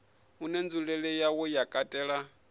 une nzulele yawo ya katela